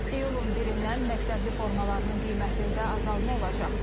İyulun 1-dən məktəbli formalarının qiymətində azalma olacaq.